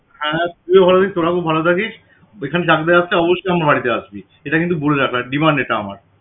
আর তুইও ভালো থাকিস, তোরা খুব ভালো থাকিস ওইখানে চাকদা আসলে অবশ্যই আমার বাড়িতে আসবি এটা কিন্তু বলে রাখলাম demand এটা আমার